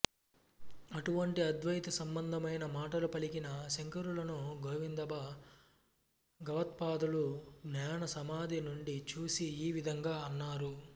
ఆటువంటి అద్వైత సంబంధమైన మాటలు పలికిన శంకరులను గోవిందభగవత్పాపాదులు జ్ఞాన సమాధి నుండి చూసి ఈ విధంగా అన్నారు